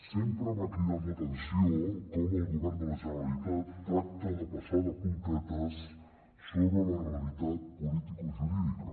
sempre m’ha cridat l’atenció com el govern de la generalitat tracta de passar de puntetes sobre la realitat política o jurídica